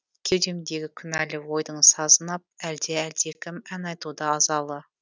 кеудемдегі күнәлі ойдың сазын ап әлде әлдекім ән айтуда азалы